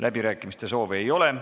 Läbirääkimiste soovi ei ole.